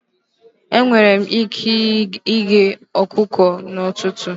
Enwere m ike ighe ọkụkọ n'ụtụtụ.